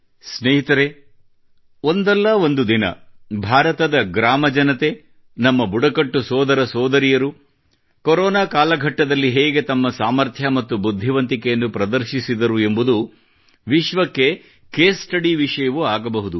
ಸ್ನೇಹಿತರೆ ಒಂದಲ್ಲಾ ಒಂದು ದಿನ ಭಾರತದ ಗ್ರಾಮಜನತೆ ನಮ್ಮ ಬುಡಕಟ್ಟು ಸೋದರ ಸೋದರಿಯರು ಕೊರೊನಾ ಕಾಘಟ್ಟದಲ್ಲಿ ಹೇಗೆ ತಮ್ಮ ಸಾಮರ್ಥ್ಯ ಮತ್ತು ಬುದ್ಧಿವಂತಿಕೆಯನ್ನು ಪ್ರದರ್ಶಿಸಿದರು ಎಂಬುದು ವಿಶ್ವಕ್ಕೆ ಕೇಸ್ ಸ್ಟಡಿ ವಿಷಯವೂ ಆಗಬಹುದು